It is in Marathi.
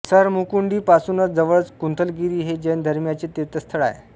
सरमकुंडी पासूनच जवळच कुंथलगिरी हे जैन धर्मीयांचे तीर्थस्थळ आहे